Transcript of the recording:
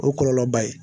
O ye kɔlɔlɔba ye